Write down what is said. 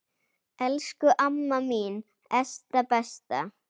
Elsku amma mín Esta besta.